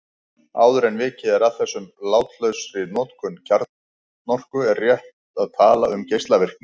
Áður en vikið er að þessum látlausari notum kjarnorku er rétt að tala um geislavirkni.